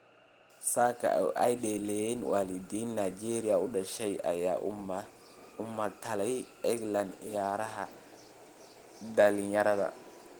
saka oo ay dhaleen waalidiin Nigeria u dhashay ayaa u matalay England ciyaaraha dhalinyarada.